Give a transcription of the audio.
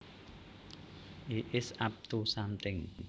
He is up to something